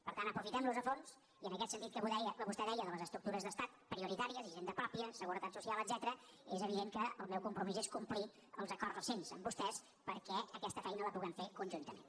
per tant aprofitem los a fons i en aquest sentit que vostè deia de les estructures d’estat prioritàries hisenda pròpia seguretat social etcètera és evident que el meu compromís és complir els acords recents amb vostès perquè aquesta feina la puguem fer conjuntament